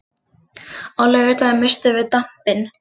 Á laugardaginn misstum við dampinn.